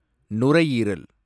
நுரையீரல்